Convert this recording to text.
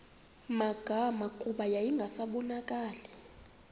magama kuba yayingasabonakali